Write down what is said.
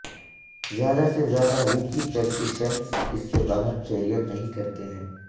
زیادہ سے زیادہ ریکی پریکٹیشنرز اس سے باہر کیریئر نہیں کرتے ہیں